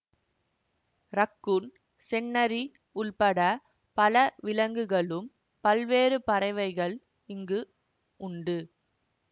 raccoon செந்நரி உள்பட பல விலங்குகளும் பல்வேறு பறவைகள் இங்கு உண்டு